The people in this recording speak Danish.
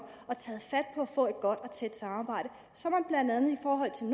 og taget fat at få et godt og tæt samarbejde så man blandt andet i forhold til